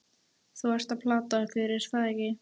Þú ert að plata okkur, er það ekki?